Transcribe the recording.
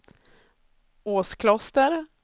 Åskloster